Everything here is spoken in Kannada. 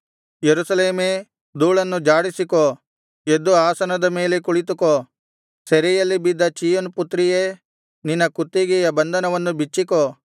ಯೆರೂಸಲೇಮೇ ಧೂಳನ್ನು ಝಾಡಿಸಿಕೋ ಎದ್ದು ಆಸನದ ಮೇಲೆ ಕುಳಿತುಕೋ ಸೆರೆಯಲ್ಲಿ ಬಿದ್ದ ಚೀಯೋನ್ ಪುತ್ರಿಯೇ ನಿನ್ನ ಕುತ್ತಿಗೆಯ ಬಂಧನವನ್ನು ಬಿಚ್ಚಿಕೋ